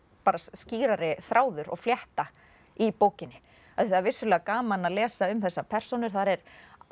skýrari þráður og flétta í bókinni af því það er vissulega gaman að lesa um þessar persónur þar er